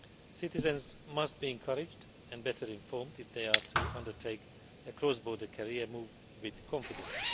Citizens must be encouraged and better informed if they are to undertake a cross border career move with confidence.